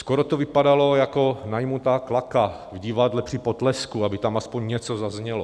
Skoro to vypadalo jako najatá klaka v divadle při potlesku, aby tam aspoň něco zaznělo.